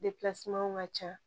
ka ca